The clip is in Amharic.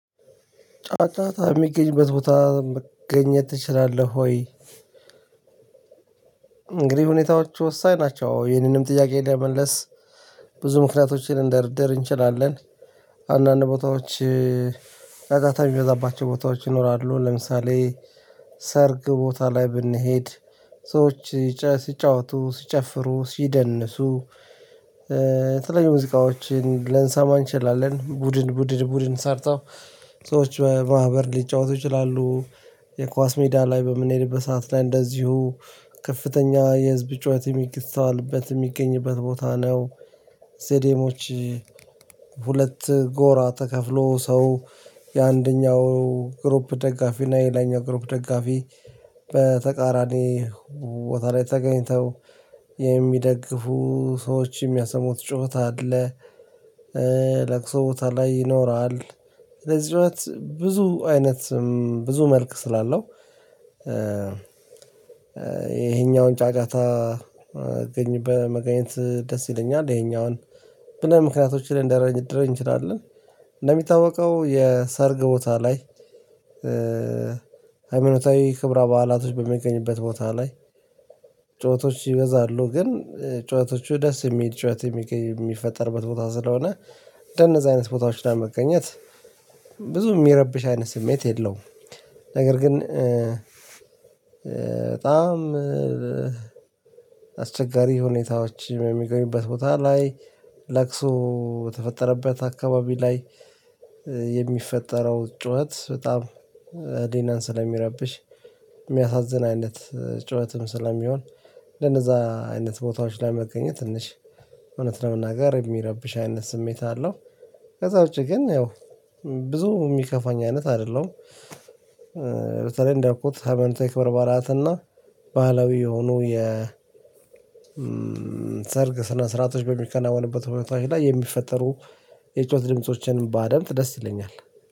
ጫጫታ የሚገኝበት ቦታ መገኘት ትችላለህ ወይ? እንግዲህ ሁኔታዎች ወሳኝ ናቸው ይሄንንም ጥያቄ ለመመለስ ብዙ ምክንያቶችን ልንደረድር እንችላለን። አንዳንድ ቦታዎች ጫጫታ የሚበዛባቸው ቦታዎች ይኖራሉ። ለምሳሌ ሰርግ ቦታ ላይ ብንሄድ ሰዎች ሲጫወቱ ሲጨፍሩ ሲደንሱ። የተለያዩ ሙዚቃዎችን ልንሰማ እንችላለን ቡድን ቡድን ቡድን ሰርተው ሰዎች በማህበር ሊጫወቱ ይችላሉ። የኳስ ሜዳ ላይ በምንሄድበት ሰዓት ላይ እንደዚሁ ከፍተኛ የህዝብ ጩኸት የሚስተዋልበት የሚገኝበት ቦታ ነው። ስቴዲየሞች ሁለት ጎራ ተከፍሎ ሰው የአንደኛው ግሩፕ ደጋፊ እና የሌላኛው ግሩፕ ደጋፊ በተቃራኒ ቦታ ላይ ተገኝተው የሚደግፉ ሰዎች የሚያሰሙት ጩኸት አለ። ለቅሶ ቦታ ላይ ይኖራል። ለዚህ ጩኸት ብዙ አይነት ብዙ መልክ ስላለው። ይሄኛውን ጫጫታ መገኘት ደስ ይለኛል ይሄኛውን ብለን ምክንያቶችን ልንደረድር እንችላለን። እንደሚታወቀው የሰርግ ቦታ ላይ ሃይማኖታዊ ክብረ በዓላቶች በሚገኙበት ቦታ ላይ ጩኸቶች ይበዛሉ ግን ጩኸቶቹ ደስ የሚል ጩኸት የሚፈጠርበት ቦታ ስለሆነ ከነዚ አይነት ቦታዎች ላይ መገኘት ብዙ የሚረብሽ አይነት ስሜት የለውም። ነገር ግን በጣም አስቸጋሪ ሁኔታዎች የሚገኙበት ቦታ ላይ ለቅሶ በተፈጠረበት አካባቢ ላይ የሚፈጠረው ጩኸት በጣም ህሊናን ስለሚረብሽ የሚያሳዝን አይነት ጩኸትም ስለሚሆን ለነዛ አይነት ቦታዎች ላይ መገኘት ትንሽ እውነት ለመናገር የሚረብሽ አይነት ስሜት አለው። ከዛ ውጪ ግን ያው ብዙ የሚከፋኝ አይነት አይደለም። በተለይ እንዳልኩት ሀበን ቴክ በርባራት እና ባህላዊ የሆኑ የ ሰርግ ስነ ስርዓቶች በሚከናወንበት ሁኔታዎች ላይ የሚፈጠሩ የጩኸት ድምፆችን ድምጾችንም ባደምጥ ደስ ይለኛል።